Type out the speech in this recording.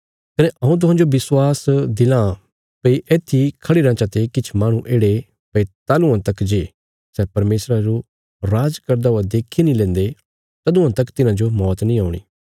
कने हऊँ तुहांजो विश्वास दिलां भई येत्थी खढ़ी रयां चते किछ माहणु येढ़े भई तालुआं तक जे सै परमेशरा जो राज करदा हुआ देक्खी नीं लेन्दे तदुआं तक तिन्हाजो मौत नीं औणी